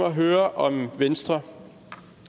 at høre om venstre